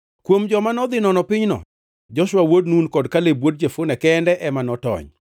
Kuom joma nodhi nono pinyno, Joshua wuod Nun kod Kaleb wuod Jefune kende ema notony.